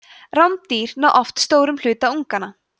rándýr ná oft stórum hluta unganna